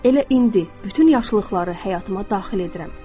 Elə indi bütün yaşılıqları həyatıma daxil edirəm.